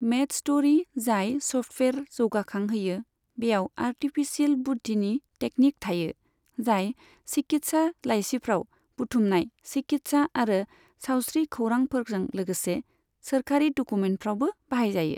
मेडस्ट'री, जाय स'फ्टवेयार जौगाखांहोयो, बेयाव आर्टिफिसियेल बुद्दिनि टेकनिक थायो, जाय चिकित्सा लाइसिफ्राव बुथुमनाय चिकित्सा आरो सावस्रि खौरांफोरजों लोगोसे सोरखारि डकुमेन्टफ्रावबो बाहायजायो।